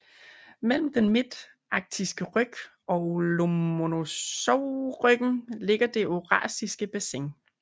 Mellem den midtarktiske ryg og Lomonosovryggen ligger det eurasiske bassin